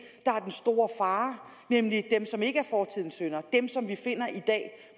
der er den store fare nemlig dem som ikke er fortidens synder dem som vi finder i dag